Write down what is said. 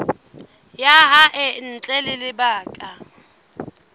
ya hae ntle ho lebaka